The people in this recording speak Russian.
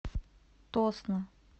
тосно